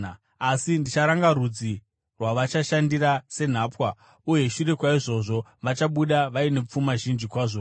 Asi ndicharanga rudzi rwavachashandira senhapwa, uye shure kwaizvozvo vachabuda vaine pfuma zhinji kwazvo.